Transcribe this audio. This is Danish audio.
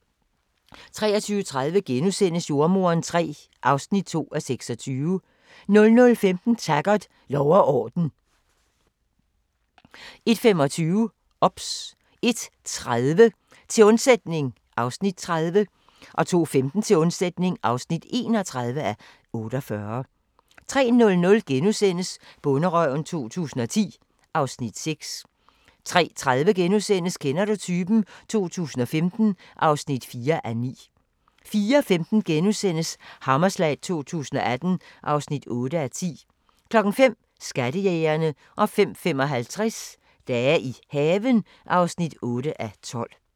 23:30: Jordemoderen III (2:26)* 00:15: Taggart: Lov og orden 01:25: OBS 01:30: Til undsætning (30:48) 02:15: Til undsætning (31:48) 03:00: Bonderøven 2010 (Afs. 6)* 03:30: Kender du typen? 2015 (4:9)* 04:15: Hammerslag 2018 (8:10)* 05:00: Skattejægerne 05:55: Dage i haven (8:12)